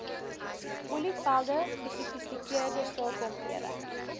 olievelde gesofistikeerde sakeomgewing